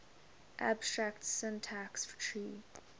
abstract syntax tree